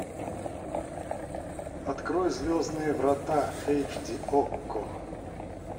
открой звездные врата эйч ди окко